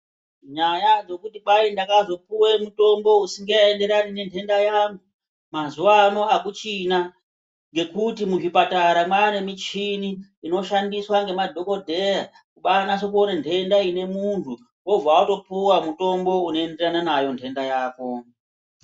Nyaya dzekuti kwai ndakazopuwa mutombo usingaenderani nendenda yangu mazuwaano akuchina nekuti muzvipatara maane michini inoshandiswa ngemadhokodheya kubaanasa kuona ndenda ine munthu obva atopuwa mutombo unoenderana nayo ndenda yako.